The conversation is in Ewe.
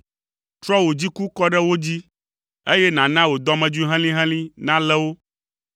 Trɔ wò dziku kɔ ɖe wo dzi, eye nàna wò dɔmedzoe helĩhelĩ nalé wo.